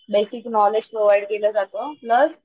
नैतिक knowledge provide केलं जात प्लस,